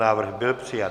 Návrh byl přijat.